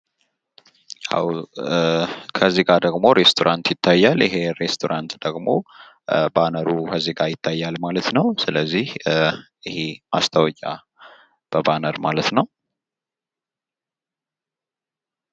ከዚህ ጋር ደግሞ ሬስቶራንት ይታያል ።ይሄ ሬስቶራንት ደግሞ ባነሩ ከዚህ ጋር ይታያል ማለት ነው ።ስለዚህ ይሄ ማስታወቂያ በባነር ማለት ነው ።